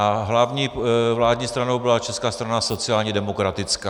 A hlavní vládní stranou byla Česká strana sociálně demokratická.